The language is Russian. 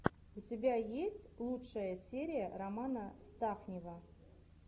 у тебя есть лучшая серия романа стахнива